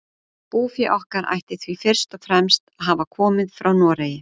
Búfé okkar ætti því fyrst og fremst að hafa komið frá Noregi.